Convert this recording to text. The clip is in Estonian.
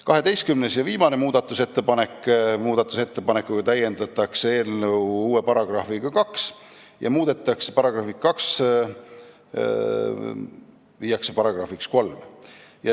12. ja viimase muudatusettepanekuga täiendatakse eelnõu uue §-ga 2 ja § 2 viiakse §-ks 3.